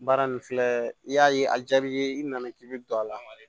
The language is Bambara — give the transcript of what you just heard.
Baara nin filɛ i y'a ye a jaar'i ye i nana i bɛ don a la